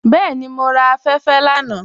Bẹẹni, mọ ra afẹ́fẹ́ lánà.